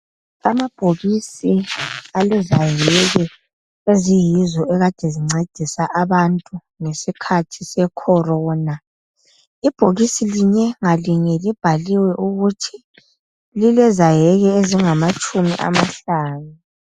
Amabhokisi alezayeke eziyizo ekade zincedisa abantu ngesikhathi secorona ibhokisi linye ngalinye libhaliwe ukuthi lilezayeke ezingamatshumi amahlanu.